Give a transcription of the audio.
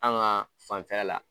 An ka fanfɛla la